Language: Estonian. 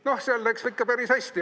Noh, seal läks ikka päris hästi.